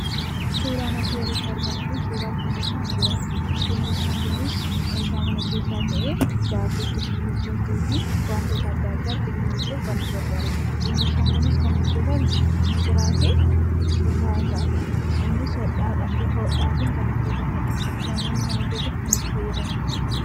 Suuraan asiin olitti argamu Kun suura gingilchaa migiraati. Gingilchaan Kunis meeshaa mana keessaa ta'ee wantoota adda addaa ittiin gingilchuuf kan nu gargaarudha. Gingilchaan Kunis kan inni irraa hojjetame migiraa fi sutaa irrayi. Innis bifa hodhaatiin kan hojjetamedha. Namoonni mana keessatti kan itti fayyadamani.